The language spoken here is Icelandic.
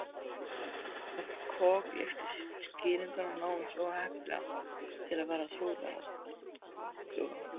Hún kokgleypti skýringuna, nánast of heppilega til að vera trúverðuga.